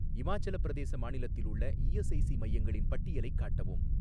இமாச்சலப் பிரதேச மாநிலத்தில் உள்ள இஎஸ்ஐசி மையங்களின் பட்டியலைக் காட்டவும்.